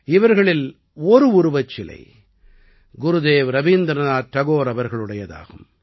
இவர்களில் ஒரு உருவச்சிலை குருதேவ் ரவீந்திரநாத் டாகோர் அவர்களுடையதாகும்